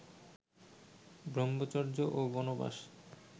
ব্রম্ভচর্য ও বনবাস